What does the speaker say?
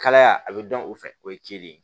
Kalaya a bɛ dɔn o fɛ o ye celi ye